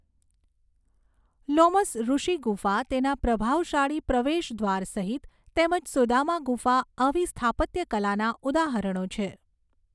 લોમસઋષિ ગુફા તેના પ્રભાવશાળી પ્રવેશદ્વાર સહિત તેમજ સુદામા ગુફા આવી સ્થાપત્યકલાના ઉદાહરણો છે.